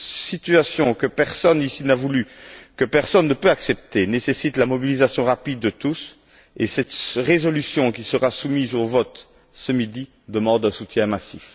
Cette situation, que personne ici n'a voulue, et que personne ne peut accepter, nécessite la mobilisation rapide de tous et cette résolution, qui sera soumise au vote ce midi, demande un soutien massif.